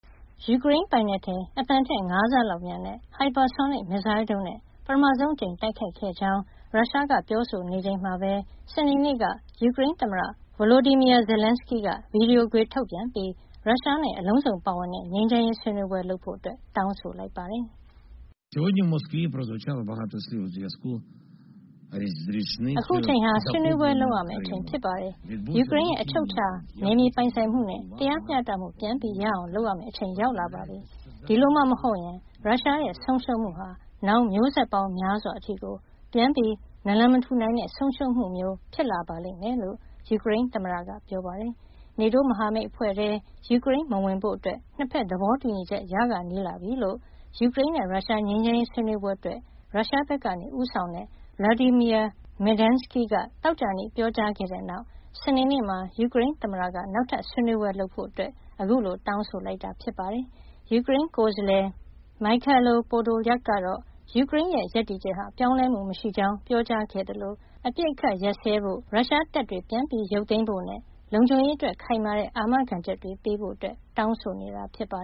ယူကရိန်းပိုင်နက်ထဲ အသံထက် ၅ ဆလောက်မြန်တဲ့ ဟိုက်ပါဆိုနစ် မစ်ဇိုင်းဒုံးနဲ့ ပထမဆုံးအကြိမ် တိုက်ခိုက်ခဲ့ကြောင်း ရုရှားက ပြောဆိုချိန်မှာပဲ စနေနေ့က ယူကရိန်းသမ္မတ Volodymyr Zelenskiy က ဗီဒီယိုခွေထုတ်ပြန်ပြီး ရုရှားနဲ့ အလုံးစုံပါဝင်တဲ့ ငြိမ်းချမ်းရေး ဆွေးနွေးပွဲလုပ်ဖို့ တောင်းဆိုလိုက်ပါတယ်။ “အခုအချိန်ဟာ ဆွေးနွေးပွဲလုပ်ရမယ့်အချိန် ဖြစ်ပါတယ်။ ယူကရိန်းရဲ့ အချုပ်အခြာ နယ်မြေပိုင်ဆိုင်မှုနဲ့ တရားမျှတမှု ပြန်ရအောင် လုပ်ရမယ့်အချိန် ရောက်လာပါပြီ။ ဒီလိုမှမဟုတ်ရင် ရုရှားရဲ့ ဆုံးရှုံးမှုဟာ နောင်မျိုးဆက်ပေါင်းများစွာ အထိကို ပြန်နာလန်မထူနိုင်တဲ့ ဆုံးရှုံးမှုမျိုး ဖြစ်လာပါလိမ့်မယ်။” လို့ ယူကရိန်းသမ္မတက ပြောပါတယ်။ NATO မဟာမိတ်အဖွဲ့ထဲ ယူကရိန်းမဝင်ဖို့ နှစ်ဖက် သဘောတူညီချက် ရခါနီးလာပြီလို့ ယူကရိန်းနဲ့ ရုရှား ငြိမ်းချမ်းရေး ဆွေးနွေးပွဲအတွက် ရုရှားဘက်က ဦးဆောင်တဲ့ Vladimir Medinsky က သောကြာနေ့မှာ ပြောကြားခဲ့တဲ့နောက် စနေနေ့မှာ ယူကရိန်းသမ္မတက နောက်ထပ်ဆွေးနွေးပွဲလုပ်ဖို့ ခုလို တောင်းဆိုလိုက်တာ ဖြစ်ပါတယ်။ ယူကရိန်းကိုယ်စားလှယ် Mykhailo Podolyak ကတော့ ယူကရိန်းရဲ့ ရပ်တည်ချက်ဟာ ပြောင်းလဲမှုမရှိကြောင်း ပြောကြားခဲ့သလို အပစ်အခတ်ရပ်စဲဖို့၊ ရုရှားတပ်တွေ ပြန်ရုပ်သိမ်းဖို့နဲ့ လုံခြုံရေးအတွက် ခိုင်မာတဲ့ အာမခံချက်တွေ ပေးဖို့ တောင်းဆိုနေတာပါ